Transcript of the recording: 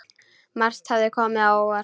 Margt hafði komið á óvart.